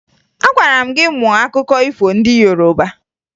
Agwara m gị mụọ akụkọ ifo ndị Yoroba!